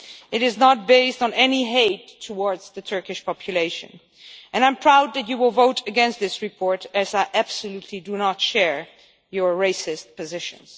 It is not based on any hate towards the Turkish population and I am proud that you will vote against this report as I absolutely do not share your racist positions.